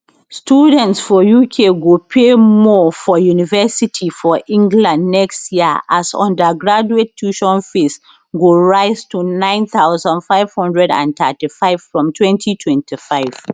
students for uk go pay more for university for england next year as undergraduate tuition fees go rise to 9535 from 2025